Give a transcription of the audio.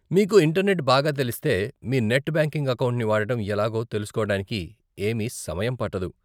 మీకు ఇంటర్నెట్ బాగా తెలిస్తే మీ నెట్ బ్యాంకింగ్ అకౌంట్ని వాడటం ఎలాగో తెలుసుకోవటానికి ఏమీ సమయం పట్టదు.